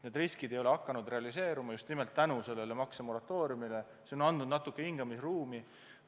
Need riskid ei ole hakanud realiseeruma just nimelt tänu maksemoratooriumile, mis on andnud natuke hingamisruumi.